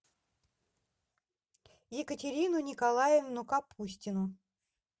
екатерину николаевну капустину